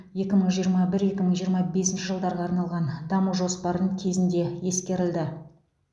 екі мың жиырма бір екі мың жиырма бесінші жылдарға арналған даму жоспарын кезінде ескерілді